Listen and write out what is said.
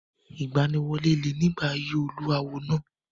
Ìgbaniwọlé le nígbà ayé olú àwo àná.